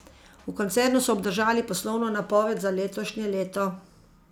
V koncernu so obdržali poslovno napoved za letošnje leto.